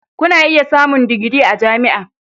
Kuna iya samun digiri a jami'a.